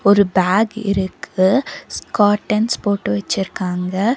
ஒரு பேக் இருக்கு ஸ்கர்ட்டன்ஸ் போட்டு வச்சிருக்காங்க.